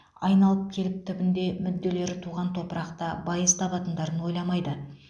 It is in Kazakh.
айналып келіп түбінде мүрделері туған топырақта байыз табатындарын ойламайды